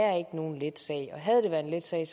er ikke nogen let sag havde det været en let sag